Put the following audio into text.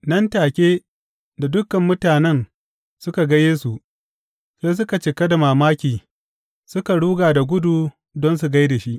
Nan take da dukan mutanen suka ga Yesu, sai suka cika da mamaki, suka ruga da gudu don su gai da shi.